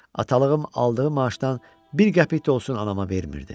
Atalığım aldığı maaşdan bir qəpik də olsun anama vermirdi.